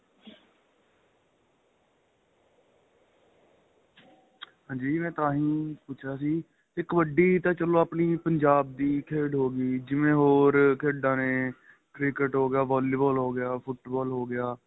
ਹਾਂਜੀ ਮੈਂ ਤਾਹੀ ਪੁੱਛ ਰਿਹਾ ਸੀ ਕਿ ਕਬੱਡੀ ਤਾਂ ਚਲੋਂ ਆਪਣੀ ਪੰਜਾਬ ਦੀ ਖੇਡ ਹੋ ਗਈ ਜਿਵੇਂ ਹੋਰ ਖੇਡਾ ਨੇ cricket ਹੋ ਗਿਆ ਬਾਲੀਬੋਲ ਹੋ ਗਿਆ ਫੁੱਟਬਾਲ ਹੋ ਗਿਆ